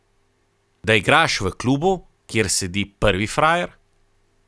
Da igraš v klubu, kjer sedi prvi frajer.